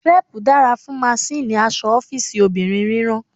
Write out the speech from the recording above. Crepe dara fun masinni aṣọ ọfiisi obinrin rírán.